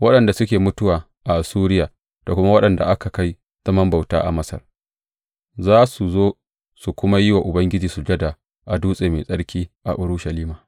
Waɗanda suke mutuwa a Assuriya da kuma waɗanda aka kai zaman bauta a Masar za su zo su kuma yi wa Ubangiji sujada a dutse mai tsarki a Urushalima.